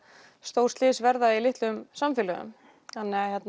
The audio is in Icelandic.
stór slys verða í litlum samfélögum þannig